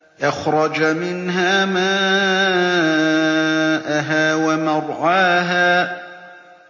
أَخْرَجَ مِنْهَا مَاءَهَا وَمَرْعَاهَا